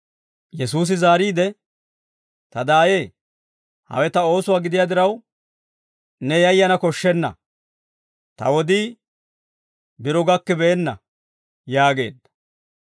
Yesuusi zaariide, «Ta daayee, hawe ta oosuwaa gidiyaa diraw, ne yayana koshshenna. Ta wodii biro gakkibeenna» yaageedda.